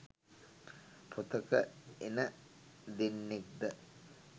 පොතක එන දෙන්නෙක්ද?